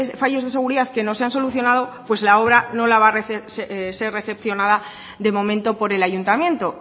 fallos de seguridad que no se han solucionado pues la obra no la va a ser recepcionada de momento por el ayuntamiento